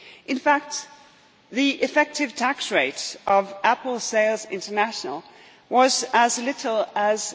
In fact, the effective tax rate for Apple Sales International was as little as